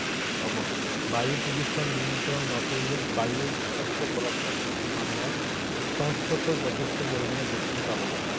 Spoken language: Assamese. বায়ু প্ৰদূষণ নিয়ন্ত্ৰণ নকৰিলে বায়ুৰ বিষাক্ত পদাৰ্থৰ প্ৰতি মানুহৰ সংস্পৰ্শ যথেষ্ট পৰিমাণে বৃদ্ধি পাব।